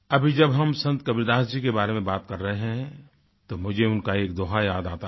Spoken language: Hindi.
अभी जब हम संत कबीरदास जी के बारे में बात कर रहे हैं तो मुझे उनका एक दोहा याद आता है